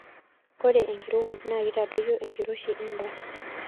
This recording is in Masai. ore enkirowuaj naa keitadoyio enkiroshi endaa